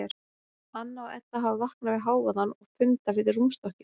Anna og Edda hafa vaknað við hávaðann og funda við rúmstokkinn.